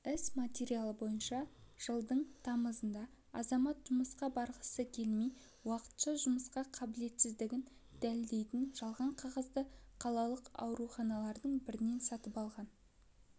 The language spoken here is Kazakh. іс материалы бойынша жылдың тамызында азамат жұмысқа барғысы келмей уақытша жұмысқа қабілетсіздігін дәлелдейтін жалған қағазды қалалық ауруханалардың бірінен сатып алған